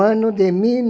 de mil